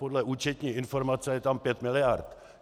Podle účetní informace je tam pět miliard.